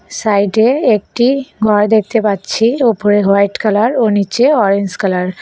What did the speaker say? সাইডে একটি ঘর দেখতে পাচ্ছি ওপরে হোয়াইট কালার ও নীচে অরেঞ্জ কালার ।